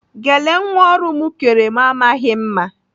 Gele nwa ọrụ m kere m amaghị mma.